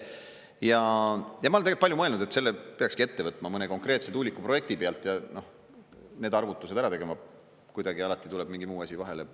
Ja ma olen palju mõelnud, et selle peakski ette võtma mõne konkreetse tuuliku projekti peal ja need arvutused ära tegema, aga kuidagi alati tuleb mingi muu asi vahele.